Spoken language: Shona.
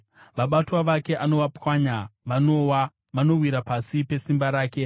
Vabatwa vake anovapwanya, vanowa; vanowira pasi pesimba rake.